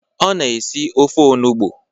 Ọ na esi ofe onugbo.